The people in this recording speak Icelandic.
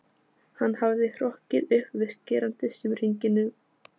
Hann hafði hrokkið upp við skerandi símhringingu nótt